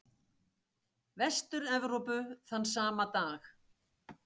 Vestur-Evrópu þann sama dag.